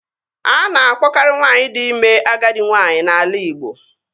A na-akpọarị nwaanyị di ime agadi nwaanyị n'ala Igbo